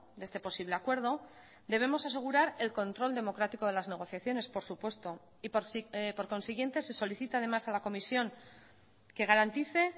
de este posible acuerdo debemos asegurar el control democrático de las negociaciones por supuesto y por consiguiente se solicita además a la comisión que garantice